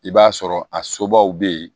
I b'a sɔrɔ a sobaw be yen